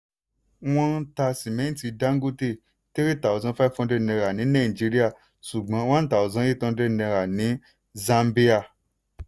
wọ́n ta simẹnti dangote three thousand five hundred naira ní nàìjíríà ṣùgbọ́n one thousand eight hundred naira ní zambia.